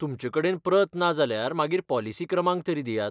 तुमचे कडेन प्रत ना जाल्यार मागीर पॉलिसी क्रमांक तरी दियात.